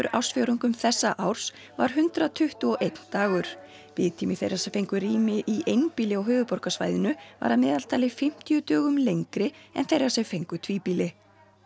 ársfjórðungum þessa árs var hundrað tuttugu og einn dagur biðtími þeirra sem fengu rými í einbýli á höfuðborgarsvæðinu var að meðaltali um fimmtíu dögum lengri en þeirra sem fengu tvíbýli